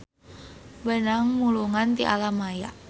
Beunang mulungan ti alam maya.